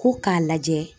Ko k'a lajɛ